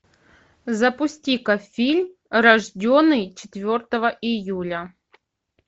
запусти ка фильм рожденный четвертого июля